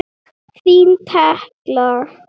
Þín Tekla.